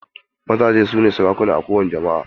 Mazaje su ne sarakuna a kowani jama"a.